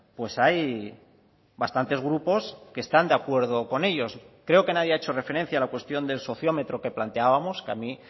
pues hay bastantes grupos que están de acuerdo con ellos creo que nadie ha hecho referencia a la cuestión del sociómetro que planteábamos que a mí